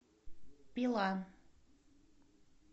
пила